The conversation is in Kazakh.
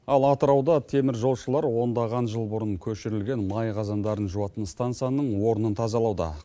ал атырауда теміржолшылар ондаған жыл бұрын көшірілген май қазандарын жуатын стансияның орынын тазалауда